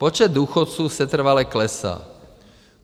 Počet důchodců setrvale klesá.